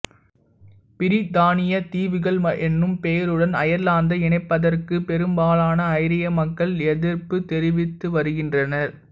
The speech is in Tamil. பிரித்தானியத் தீவுகள் என்னும் பெயருடன் அயர்லாந்தை இணைப்பதற்குப் பெரும்பாலான ஐரிய மக்கள் எத்ர்ப்புத் தெரிவித்து வருகின்றனர்